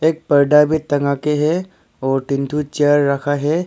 पर्दा भी टंगा के है और तीन ठो चेयर रखा है।